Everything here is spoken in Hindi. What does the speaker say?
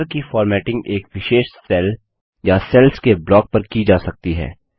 बॉर्डर्स की फॉर्मेटिंग एक विशेष सेल या सेल्स के ब्लॉक पर की जा सकती है